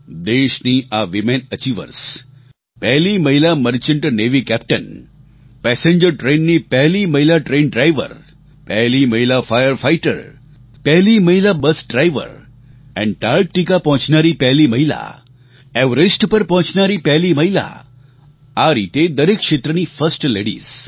દેશની આ women achievers પહેલી મહિલા મર્ચન્ટ નેવી કેપ્ટન પેસેન્જર ટ્રેનની પહેલી મહિલા ટ્રેન ડ્રાઇવર પહેલી મહિલા ફાયર ફાઇટર પહેલી મહિલા બસ ડ્રાઇવર એન્ટાર્ક્ટિકા પહોંચનારી પહેલી મહિલા એવરેસ્ટ પર પહોંચનારી પહેલી મહિલા આ રીતે દરેક ક્ષેત્રની ફર્સ્ટ લેડિઝ